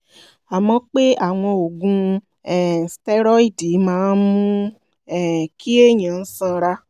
a mọ̀ pé àwọn oògùn um stẹ́rọ́ìdì máa ń mú um kí èèyàn sanra